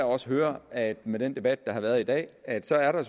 også høre af den debat der har været i dag at der er